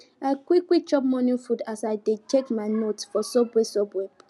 i quick quick chop morning food as i dey check my notes for subway subway